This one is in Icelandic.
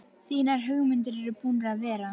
Þínar hugmyndir eru búnar að vera.